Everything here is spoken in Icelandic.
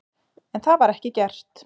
En það var ekki gert.